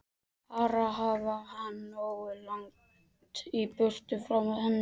Bara hafa hann nógu langt í burtu frá henni!